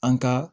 An ka